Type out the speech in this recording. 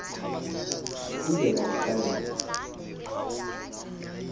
kungena ndihlale naye